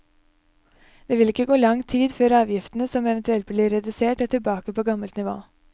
Det vil ikke gå lang tid før avgiftene som eventuelt blir redusert, er tilbake på gammelt nivå.